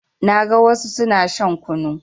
Na ga wassu suna shan kunu